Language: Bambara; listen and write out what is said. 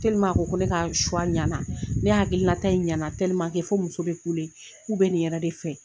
A ko ko ne ka ɲɛna, ne hakilila ta in ɲɛna fo muso bɛ kule, k'u bɛ nin yɛrɛ de fɛ.